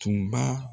Tun b'a